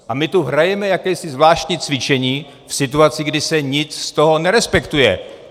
A my tu hrajeme jakési zvláštní cvičení v situaci, kdy se nic z toho nerespektuje.